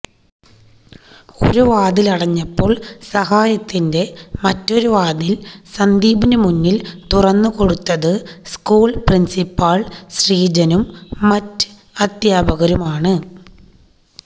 ഒരു വാതിലടഞ്ഞപ്പോള് സഹായത്തിന്റെ മറ്റൊരുവാതില് സന്ദീപിന് മുന്നില് തുറന്നു കൊടുത്തത് സ്കൂള് പ്രിന്സിപ്പാള് ശ്രീജനും മറ്റ് അദ്ധ്യാപകരുമാണ്